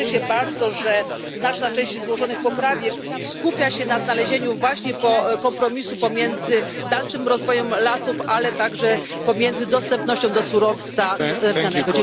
Cieszę się bardzo, że znaczna część złożonych poprawek skupia się na znalezieniu właśnie kompromisu pomiędzy dalszym rozwojem lasów, ale także pomiędzy dostępnością surowca drzewnego.